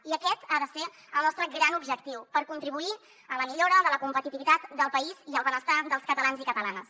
i aquest ha de ser el nostre gran objectiu per contribuir a la millora de la competitivitat del país i al benestar dels catalans i catalanes